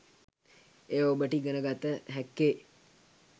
එය ඔබට ඉගෙන ගත හැක්කේ